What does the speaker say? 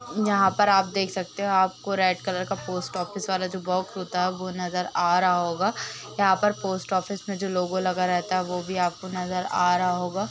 यहाँ पर आप देख सकते हो आपको रेड कलर का पोस्ट ऑफिस वाला जो बॉक्स होता है वो नज़र आ रहा होगा। यहाँ पर पोस्ट ऑफिस में जो लोगो लगा रहता वो भी आपको नज़र आ रहा होगा।